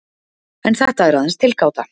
En þetta er aðeins tilgáta.